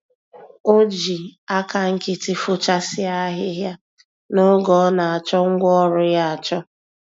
O ji aka nkịtị fochasịa ahịhịa, n'oge ọ nachọ ngwá ọrụ ya achọ